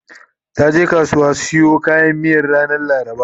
taje kasuwa siyo kayan miyan ranar laraba